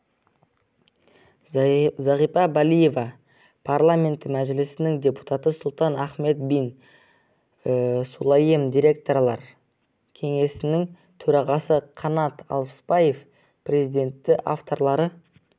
зағипа балиева парламенті мәжілісінің депутаты сұлтан ахмед бин сулайем директорлар кеңесінің төрағасы қанат алпысбаев президенті авторлары